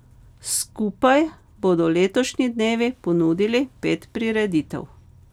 Skupaj bodo letošnji dnevi ponudili pet prireditev.